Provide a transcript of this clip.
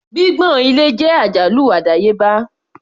Gbígbọ̀n ilẹ̀ jẹ́ àjálù àdáyébá.